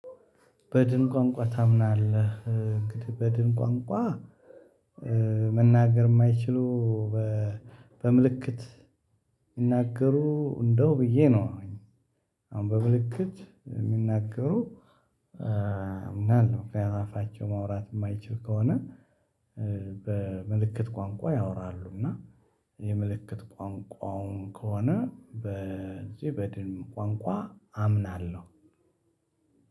በድን ቋንቋ ታምናለህ እንግዲህ በድን ቋንቋ መናገር የማይችሉ በምልክት ይናገሩ እንደው ብዬ ነው። አሁን በምልክት የሚናገሩ። እና ከዛ አፋቸው ማውራት የማይችል ከሆነ። በምልክት ቋንቋ ያወራሉ እና የምልክት ቋንቋውን ከሆነ በዚህ በድል ቋንቋ አምናለሁ።